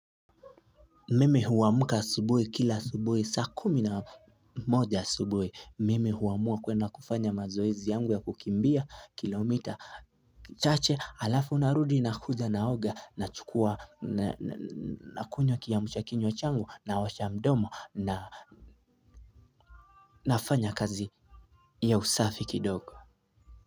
Mmi huwamka asubui kila asubui saa kumi na moja subui mimi huwamua kwenda kufanya mazoezi yangu ya kukimbia kilomita chache alafu narudi na kuja naoga nachukua na kunywa kiyamshakinywa changu naosha mdomo na nafanya kazi ya usafi kidogo.